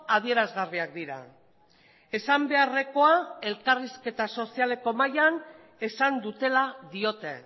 adierazgarriak dira esan beharrekoa elkarrizketa sozialeko mahaian esan dutela diote